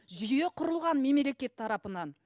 жүйе құрылған мемлекет тарапынан